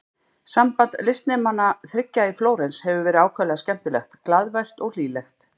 Samband listnemanna þriggja í Flórens hefur verið ákaflega skemmtilegt, glaðvært og hlýlegt.